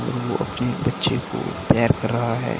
वो अपने बच्चे को तैयार कर रहा है।